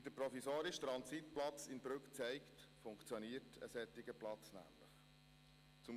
Wie der provisorisch Transitplatz in Brügg zeigt, funktioniert ein solcher Platz nämlich.